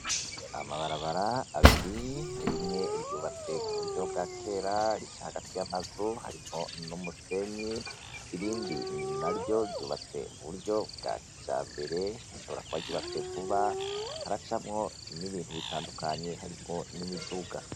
Amabarabara abiri rimwe ryubatswe mu buryo bwa kera rica hagati y'amazu harimwo n'umusenyi irindi na ryo ryubatswe mu buryo bwa kijambere rishobora kuba ryubatswe vuba, haracamwo n'ibintu bitandukanye harimwo n'imiduga.